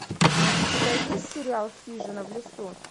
у тебя есть сериал хижина в лесу